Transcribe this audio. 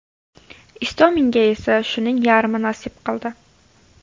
Istominga esa shuning yarmi nasib qildi.